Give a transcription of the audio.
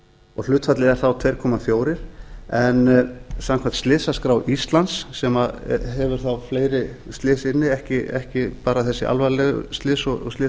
og hlutfallið er þá tvö komma fjögur en samkvæmt slysaskrá íslands sem hefur þá fleiri slys inni ekki bara þessi alvarlegu slys og slysin